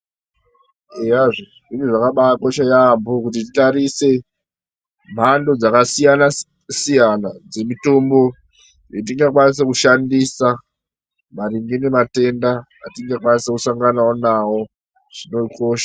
Eyazve zviro zvakabakosha yaamho kuti titarise mhando dzakasiyana-siyana dzemitombo dzetingakwanisa kushandisa maringe nematenda atingakwanisa kusangana nawo zvinokosha.